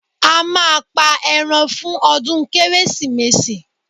A máa pa ẹran fún ọdún Kérésìmesì